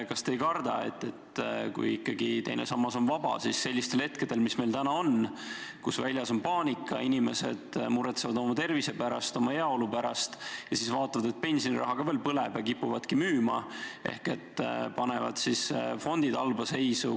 Kas te ei karda, et kui ikkagi teine sammas on vaba, siis sellistel hetkedel, nagu meil praegu on, kus valitseb paanika, inimesed muretsevad oma tervise pärast, oma heaolu pärast ja siis veel näevad, et pensioniraha ka põleb, nad kipuvadki raha välja võtma ja panevad fondid halba seisu.